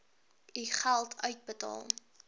u geld uitbetaal